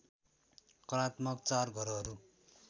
कलात्मक चार घरहरू